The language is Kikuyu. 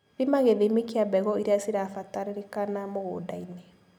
Thima githimi kia mbegũ iria cirabatarĩkana mũgundainĩ.